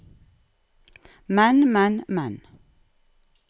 men men men